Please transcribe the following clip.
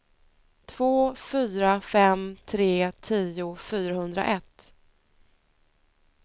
två fyra fem tre tio fyrahundraett